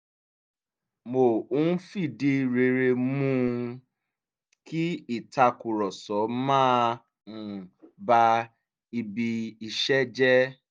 mo ń fìdí rere mú um kí ìtàkùrọ̀sọ má um ba ibi iṣẹ́ jẹ́